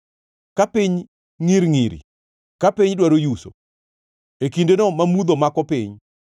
ka piny ngʼiringʼiri, ka piny dwaro yuso, e kindeno ma mudho mako piny.